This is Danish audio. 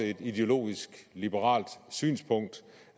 et ideologisk liberalt synspunkt